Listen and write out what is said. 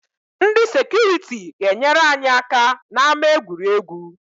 Ndị sekuriti ga-enyere anyị aka n’ama egwuregwu